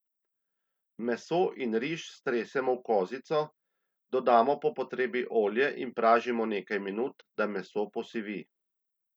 Meso in riž stresemo v kozico, dodamo po potrebi olje in pražimo nekaj minut, da meso posivi.